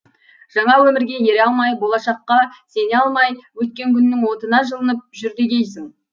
жаңа өмірге ере алмай болашаққа сене алмай өткен күннің отына жылынып жүр дегейсің